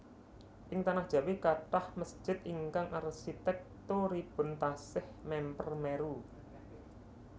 Ing tanah Jawi kathah mesjid ingkang arsitèkturipun taksih mèmper Meru